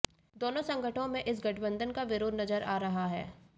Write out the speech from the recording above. दोनों संगठनों में इस गठबंधन का विरोध नजर आ रहा है